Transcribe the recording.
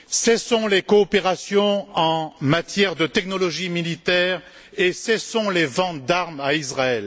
Cessons les coopérations en matière de technologies militaires et cessons les ventes d'armes à Israël.